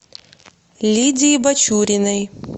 лидии бачуриной